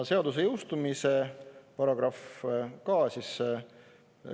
Seaduse jõustumise paragrahv ka.